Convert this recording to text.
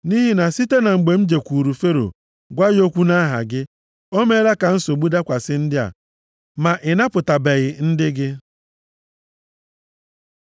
Nʼihi na site na mgbe m jekwuuru Fero gwa ya okwu nʼaha gị, o meela ka nsogbu dakwasị ndị a, ma ị napụtabeghị ndị gị.”